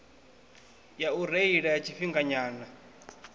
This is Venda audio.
ya u reila ya tshifhinganyana